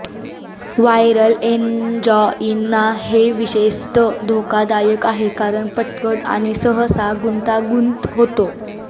viral angina हे विशेषतः धोकादायक आहे कारण पटकन आणि सहसा गुंतागुंत होतो